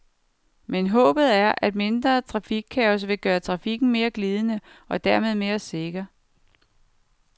Men håbet er, at mindre trafikkaos vil gøre trakfikken mere glidende, og dermed mere sikker.